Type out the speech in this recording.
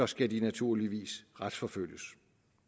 skal de naturligvis retsforfølges